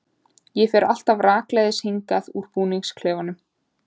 Ég fer alltaf rakleiðis hingað úr búningsklefanum.